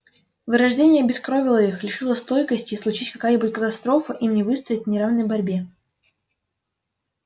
вырождение обескровило их лишило стойкости и случись какая-нибудь катастрофа им не выстоять в неравной борьбе